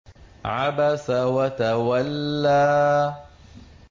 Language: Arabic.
عَبَسَ وَتَوَلَّىٰ